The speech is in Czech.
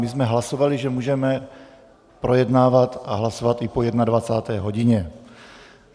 My jsme hlasovali, že můžeme projednávat a hlasovat i po 21. hodině.